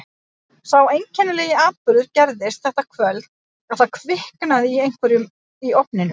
Sá einkennilegi atburður gerðist þetta kvöld að það kviknaði í einhverju í ofninum.